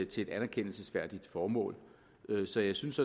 til et anerkendelsesværdigt formål så jeg synes